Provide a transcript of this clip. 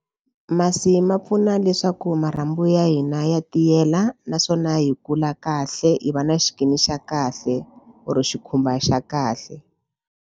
Masi ma pfuna leswaku marhanbu ya hina ya tiyela naswona hi kula kahle hi va na skin xa kahle kumbe xikhumba xa kahle.